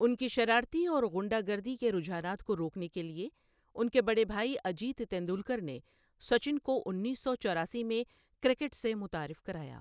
ان کی شرارتی اور گُنڈہ گردی کے رجحانات کو روکنے کے لیے، ان کے بڑے بھائی اجیت تینڈولکر نے سچن کو انیس سو چوراسی میں کرکٹ سے متعارف کرایا۔